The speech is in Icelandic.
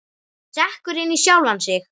Sekkur inn í sjálfan sig.